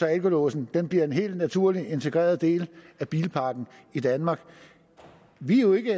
alkolåsen bliver en helt naturlig integreret del af bilparken i danmark vi er jo ikke